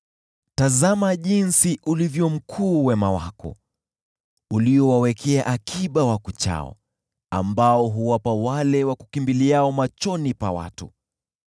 Tazama jinsi ulivyo mkuu wema wako, uliowawekea akiba wakuchao, ambao huwapa wale wakukimbiliao machoni pa watu.